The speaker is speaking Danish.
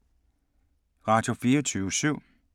Radio24syv